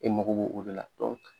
E mako b'o o de la